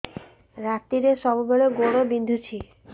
ରାତିରେ ସବୁବେଳେ ଗୋଡ ବିନ୍ଧୁଛି